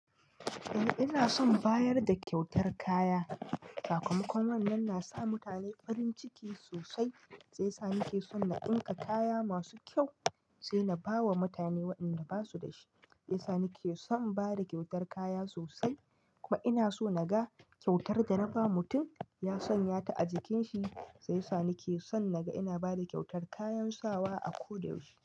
Eh ina son bayar da kyautar kaya. Sakamakon wannan na sa mutane farin ciki sosai shiyasa nake son na ɗinka kaya masu kyau, saina bawa mutane waɗanda basu dashi. Shiyasa nake son bada kyautar kaya sosai kuma ina so naga kyautar da na ba mutum ya sanya ta a jikin shi. Shiyasa nake son naga ina bada kyautar kayan sawa a ko da yaushe.